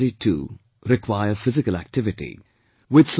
Other parts of the body too require physical activity